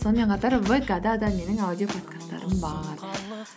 сонымен қатар вк да да менің аудиоподкасттарым бар